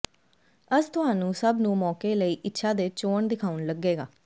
ਅਸ ਤੁਹਾਨੂੰ ਸਭ ਨੂੰ ਮੌਕੇ ਲਈ ਇੱਛਾ ਦੇ ਚੋਣ ਦਿਖਾਉਣ ਲੱਗੇਗਾ